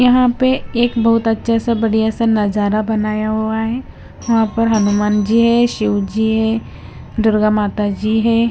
यहां पे एक बहुत अच्छे सा बढ़िया सा नजारा बनाया हुआ है यहां पे हनुमान जी है शिव जी है दुर्गा माता जी है।